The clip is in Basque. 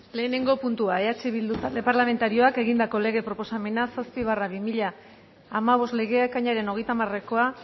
lehenengo puntua eh bildu talde parlamentarioak egindako lege proposamena zazpi barra bi mila hamabost legea ekainaren hogeita hamarekoa